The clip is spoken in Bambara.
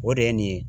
O de ye nin ye